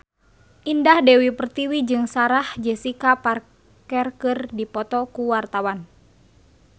Indah Dewi Pertiwi jeung Sarah Jessica Parker keur dipoto ku wartawan